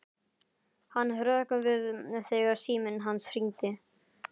Hann hrökk við þegar síminn hans hringdi.